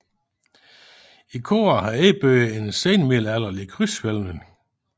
I koret er indbygget en senmiddelalderlig krydshvælving